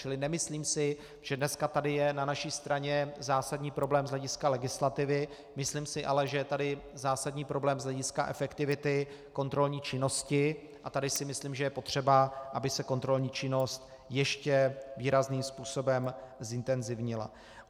Čili nemyslím si, že dneska tady je na naší straně zásadní problém z hlediska legislativy, myslím si ale, že je tady zásadní problém z hlediska efektivity kontrolní činnosti, a tady si myslím, že je potřeba, aby se kontrolní činnost ještě výrazným způsobem zintenzivnila.